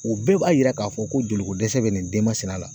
O bee b'a yira k'a fɔ ko joli ko dɛsɛ be nin den masina la.